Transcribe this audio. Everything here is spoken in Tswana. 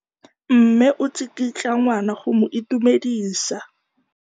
Mme o tsikitla ngwana go mo itumedisa.